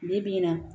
Bi bi in na